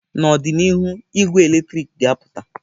N'ọdịnihu, ị́gwẹ́ eletrik ga-apụta.